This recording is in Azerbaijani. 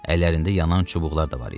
Əllərində yanan çubuqlar da var idi.